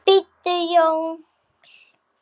BÍDDU JÓI.